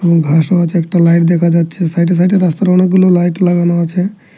এবং ভাসোয়াজ একটা লাইট দেখা যাচ্ছে সাইডে সাইডে রাস্তার অনেকগুলো লাইট লাগানো আছে।